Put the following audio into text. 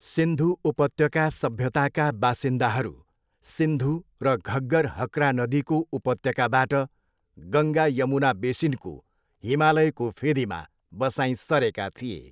सिन्धु उपत्यका सभ्यताका बासिन्दाहरू सिन्धु र घग्गर हक्रा नदीको उपत्यकाबाट गङ्गा यमुना बेसिनको हिमालयको फेदीमा बसाइँ सरेका थिए।